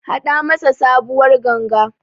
Haɗa masa sabuwar Ganga.